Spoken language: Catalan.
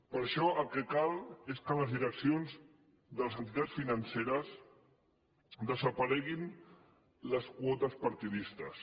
per això el que cal és que de les direccions de les entitats finance·res desapareguin les quotes partidistes